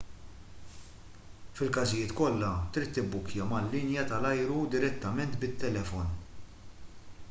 fil-każijiet kollha trid tibbukkja mal-linja tal-ajru direttament bit-telefon